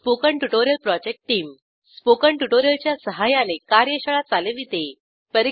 spoken tutorial project team spoken tutorial च्या सहाय्याने कार्यशाळा चालविते